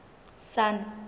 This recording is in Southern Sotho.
sun